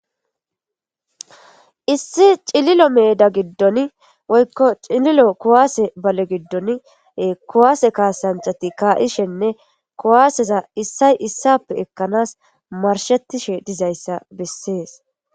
Issi cililo meeda giddon woykko cililo kuwaase bale giddon kuwaase kaasanchati kaa'ishenne kuwaaseza issay issappe ekkanas marshettishe dizayssa bessees.